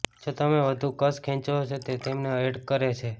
જો તમે વધુ કશ ખેંચો છો તો તે તમને એર્ટ કરે છે